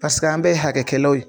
Paseke an bɛ ye hakɛkɛlaw ye.